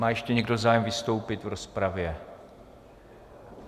Má ještě někdo zájem vystoupit v rozpravě?